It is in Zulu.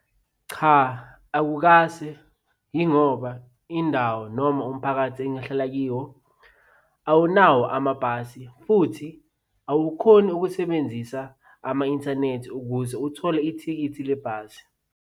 Cha akukase yingoba indawo noma umphakathi engihlala kiwo awunawo amabhasi futhi awukhoni ukusebenzisa ama-inthanethi ukuze uthole ithikithi lebhasi.